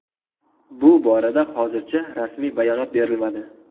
Bu borada hozircha rasmiy bayonot berilmadi.